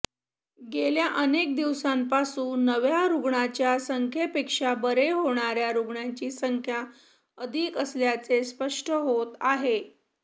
गेल्या अनेक दिवसांपासून नव्या रुग्णांच्या संख्येपेक्षा बरे होणाऱ्या रुग्णांची संख्या अधिक असल्याचे स्पष्ट होत आहे